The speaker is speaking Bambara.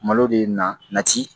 Malo de ye na nati